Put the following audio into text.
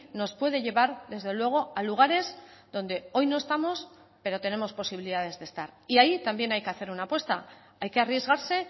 nos puede llevar desde luego a lugares donde hoy no estamos pero tenemos posibilidades de estar y ahí también hay que hacer una apuesta hay que arriesgarse